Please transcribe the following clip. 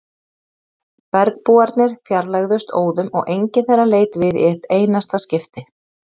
Bergbúarnir fjarlægðust óðum og enginn þeirra leit við í eitt einasta skipti.